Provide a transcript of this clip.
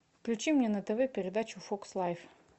включи мне на тв передачу фокс лайф